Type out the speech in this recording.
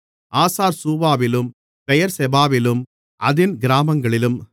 ஆசார்சூவாவிலும் பெயெர்செபாவிலும் அதின் கிராமங்களிலும்